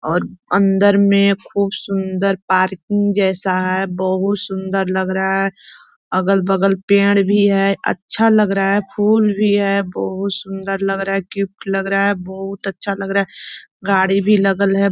और अंदर में खूब सुंदर पार्किंग जैसा है बहुत सुंदर लग रहा है अगल बगल पेंड़ भी है अच्छा लग रहा है फुल भी है बहुत सुंदर लग रहा है गिफ्ट लग रहा है बहुत अच्छा लग रहा है गाड़ी भी लगल है।